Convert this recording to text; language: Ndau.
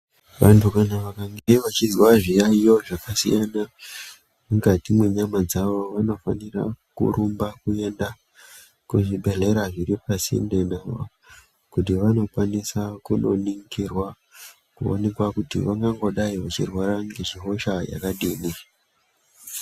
Wandu wakange wachizwa zviyayiyo zvakasiyana mukati mwenyama dzawo wanofanira kurumba kuenda kuchibhedhlera zviri pasinde nawo, kuti wanokwanisa kunoningirwa kuonekwa kuti wangangodai wachirwara ngehosha yakadini.